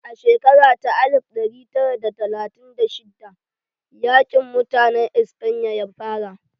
A shekara ta alif ɗari tara da talatin da shidda yaƙin mutanen Espanya ya fara